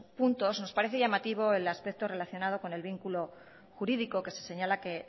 puntos nos parece llamativo el aspecto relacionado con el vínculo jurídico que se señala